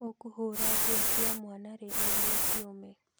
Ũkũhũra nguo cia mwana rĩ nĩguo ciũme?